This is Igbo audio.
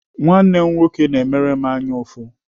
Nwanne m nwoke na-emere m anyaụfụ.